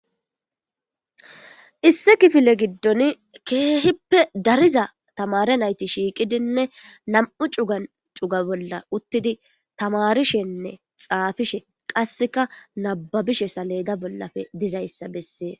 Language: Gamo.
issi kifile giddon keehippe dariza tamare nayti shiiqidinne nam7u cuga cuga bolla uttidi tamarishenne xaafishe qasseka nababishe saleda bollafe dizayssa bessee